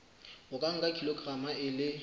o nka kilograma e le